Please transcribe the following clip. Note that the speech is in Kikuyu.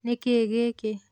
Nĩkĩĩ gĩkĩ?